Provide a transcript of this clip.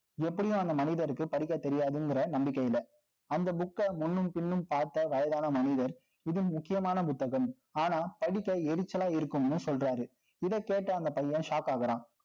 எப்படியும் அந்த மனிதருக்கு, படிக்க தெரியாதுங்கிற நம்பிக்கையில. அந்த book அ முன்னும், பின்னும் பார்த்த வயதான மனிதர், இதில் முக்கியமான புத்தகம். ஆனா, படிக்க எரிச்சலா இருக்கும்னு சொல்றாரு இதைக் கேட்டு, அந்தப் பையன் shock ஆகறான்